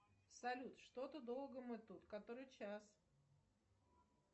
салют что то долго мы тут который час